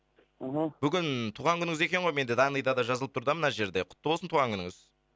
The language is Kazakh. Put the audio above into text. аха бүгін туған күніңіз екен ғой мен де данный да жазылып тұр да мына жерде құтты болсын туған күніңіз